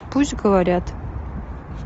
пусть говорят